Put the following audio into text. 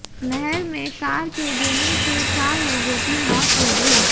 नहर में कार के गिरने से चार लोगों की मौत हो गई